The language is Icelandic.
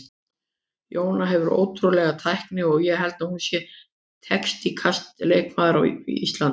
Jóna hefur ótrúlega tækni og ég held hún sé teknískasti leikmaður á landinu.